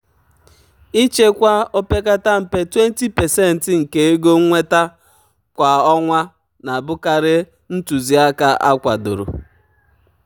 ịchekwa opekata mpe 20% nke ego nnweta kwa ọnwa na-abụkarị ntụzịaka akwadoro. um